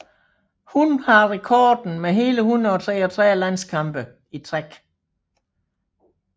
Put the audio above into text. Hun har rekorden med hele 133 landskampe i træk